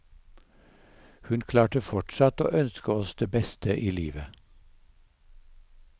Hun klarte fortsatt å ønske oss det beste i livet.